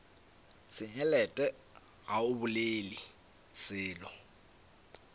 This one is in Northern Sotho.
senyelet ga o bolele selo